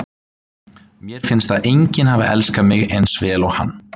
Mér finnst að enginn hafi elskað mig eins vel og hann.